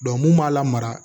mun b'a la mara